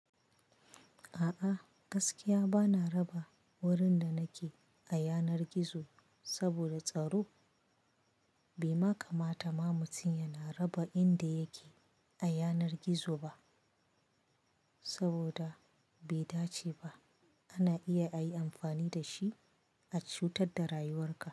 A'a, gaskiya bana raba wurin da nake a yanar gizo saboda tsaro. Bai ma kamata ma mutum yana raba inda yake a yanar gizo ba saboda bai dace ba. Ana iya ayi amfani dashi a cutar da rayuwar ka.